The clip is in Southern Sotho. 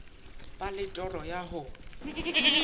ba le toro ya ho